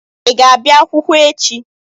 Ị ga-abịa akwụkwọ echi?